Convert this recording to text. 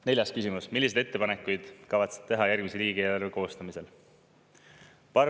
Neljas küsimus: "Milliseid ettepanekuid kavatsete teha järgmise riigieelarve koostamisel?